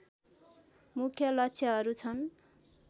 मुख्य लक्ष्यहरू छन्